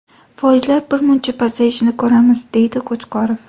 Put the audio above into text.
Foizlar birmuncha pasayishini ko‘ramiz”, deydi Qo‘chqorov.